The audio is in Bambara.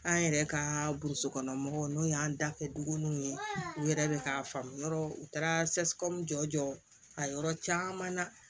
An yɛrɛ ka burusi kɔnɔ mɔgɔw n'o y'an dafɛ dugu ninnu ye u yɛrɛ bɛ k'a faamu u taara jɔ a yɔrɔ caman na